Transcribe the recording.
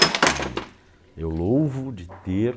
Porque eu louvo de ter...